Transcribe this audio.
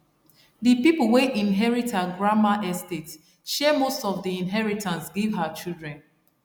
the people wey inherit her grandma estate share most of the inheritance give her children